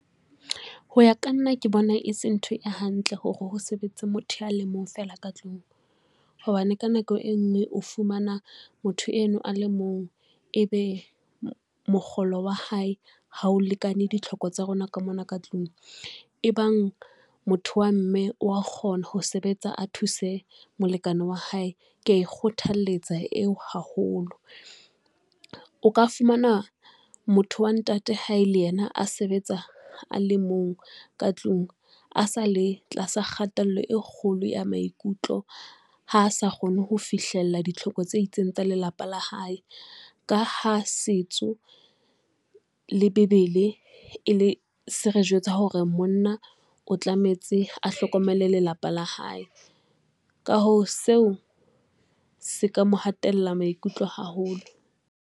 Ho ya ka nna, ke bona e se ntho e hantle hore ho sebetsa motho a le mong fela ka tlung, hobane ka nako e ngwe o fumana motho eno a le mong ebe mokgolo wa hae ha o lekane ditlhoko tsa rona ka mona ka tlung. E bang motho wa mme wa kgona ho sebetsa, a thuse molekane wa hae, ke a e kgothalletsa eo haholo. O ka fumana motho wa ntate ha e le yena a sebetsa a le mong ka tlung a sa le tlasa kgatello e kgolo ya maikutlo, ha sa kgone ho fihlella ditlhoko tse itseng tsa lelapa la hae. Ka ha setso le Bebele se re jwetsa hore monna o tlametse a hlokomele lelapa la hae, ka hoo seo se ka mo hatella maikutlo haholo.